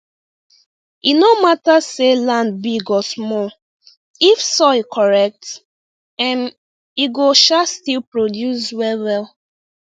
e no matter say land big or small if soil correct um e go um still produce well well